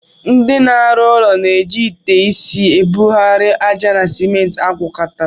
Ndị na-arụ ụlọ na-eji ite isi ebugharị ájá na simenti agwakọtara.